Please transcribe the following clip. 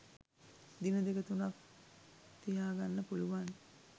දින දෙක තුනක් තියා ගන්න පුළුවන්